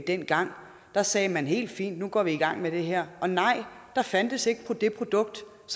dengang da sagde man helt fint nu går vi i gang med det her og nej der fandtes ikke forsikring for det produkt